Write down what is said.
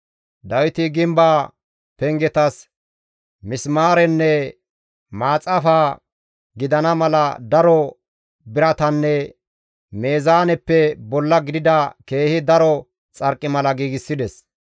Dawiti gimbaa pengetas misimaarenne maaxafa gidana mala daro biratanne meezaaneppe bolla gidida keehi daro xarqimala giigsides.